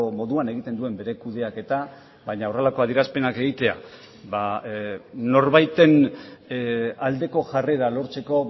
moduan egiten duen bere kudeaketa baina horrelako adierazpenak egitea norbaiten aldeko jarrera lortzeko